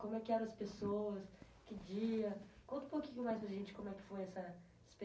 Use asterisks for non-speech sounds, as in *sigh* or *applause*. Como é que eram as pessoas? Que dia? Conta um pouquinho mais para a gente como é que foi essa *unintelligible*